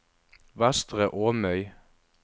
Vestre Åmøy